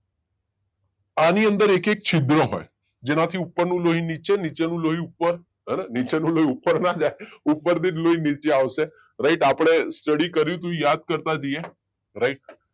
આની અંદર એક એક છિદ્રો હોય જેનાથી ઉપરનું લોહી નીચે, નીચેનું લોહી ઉપર હ ને નીચેનું લોહી ઉપર ના જાય ઉપરથી જ લોહી નીચે આવશે. રાઈટ આપણે સ્ટડી કરી હતી યાદ કરતા જઈએ રાઈટ